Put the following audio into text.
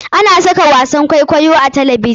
Ana saka wasan kwaikwayo a talabjin.